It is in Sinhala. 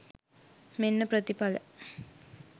මෙන්න ප්‍රතිඵල